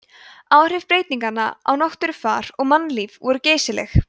áhrif breytinganna á náttúrufar og mannlíf voru geysileg